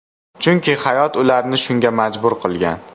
Chunki hayot ularni shunga majbur qilgan.